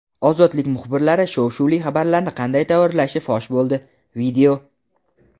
"Ozodlik" muxbirlari shov-shuvli xabarlarni qanday tayyorlashi fosh bo‘ldi.